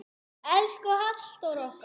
Elsku Halldór okkar.